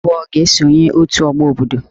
Ndị enyi abụọ a ga-esonye òtù ọgbọ obodo